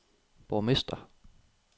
borgmester